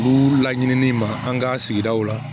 Kuru la ɲinini ma an ka sigidaw la